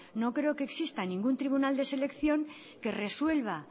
no creo que exista ningún tribunal de selección que resuelva